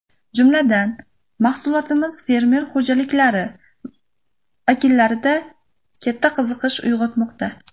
Jumladan, mahsulotimiz fermer xo‘jaliklari vakillarida katta qiziqish uyg‘otmoqda.